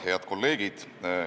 Head kolleegid!